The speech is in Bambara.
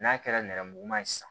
N'a kɛra nɛrɛmuguma ye sisan